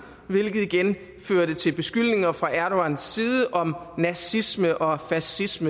hvilket igen førte til beskyldninger fra erdogans side om nazisme og fascisme